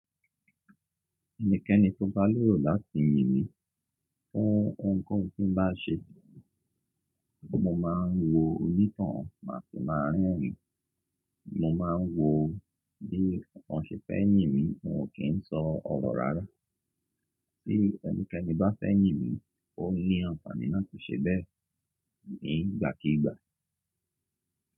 Ẹnikẹ́ni tó bá lérò láti yìn mí fún ohunkóhun tí ń bá ṣe, mo máa ń wo onítàn má sì máa rẹ́rìn-ín. Mo máa ń wo bí wọn ṣẹ̀ fẹ́ yìn mí, wọn kì n sọ ọ̀rọ̀ rárá. Bí ẹnikẹ́ni bá fẹ́ yìn mi, ó ní àǹfààní láti ṣe bẹ́ẹ̀ nígbàkígbà.